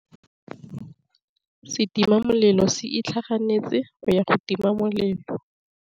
Setima molelô se itlhaganêtse go ya go tima molelô.